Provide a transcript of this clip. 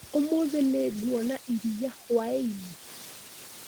ũmũthĩ nĩnguona iria hwai-inĩ?